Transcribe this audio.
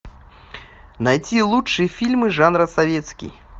найти лучшие фильмы жанра советский